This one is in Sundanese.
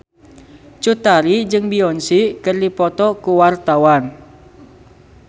Cut Tari jeung Beyonce keur dipoto ku wartawan